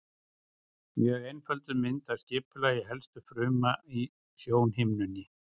Mjög einfölduð mynd af skipulagi helstu fruma í sjónhimnunni.